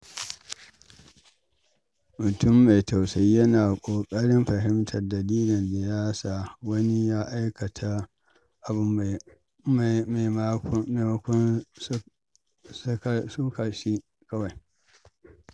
Mutum mai tausayi yana ƙoƙarin fahimtar dalilin da ya sa wani ya aikata abu maimakon sukar shi kawai.